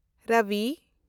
ᱨᱚᱵᱤ